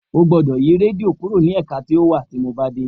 O gbódọ̀ yi rédíò kúrò ní ẹ̀ka tí ó wa tí mo bá dé.